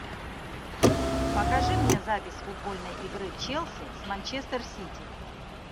покажи мне запись футбольной игры челси с манчестер сити